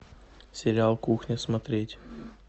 сериал кухня смотреть